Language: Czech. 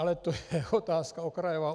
Ale to je otázka okrajová.